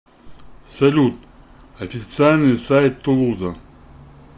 салют официальный сайт тулуза